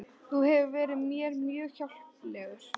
Þú hefur verið mér mjög hjálplegur